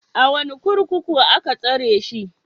A wane kurkuku aka tsare shi?